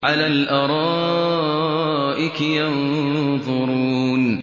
عَلَى الْأَرَائِكِ يَنظُرُونَ